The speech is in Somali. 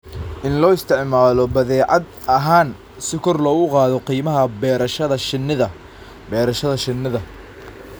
In loo isticmaalo badeecad ahaan si kor loogu qaado qiimaha beerashada shinnida (Beerashada shinnida).